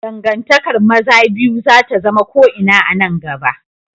Dangantakar maza biyu za ta zama ko ina a nan gaba.